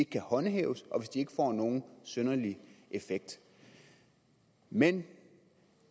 kan håndhæves og hvis de ikke får nogen synderlig effekt men